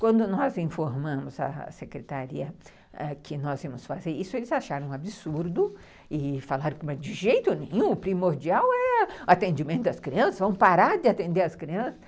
Quando nós informamos à secretaria que nós íamos fazer isso, eles acharam um absurdo e falaram que de jeito nenhum, o primordial é o atendimento das crianças, vamos parar de atender as crianças.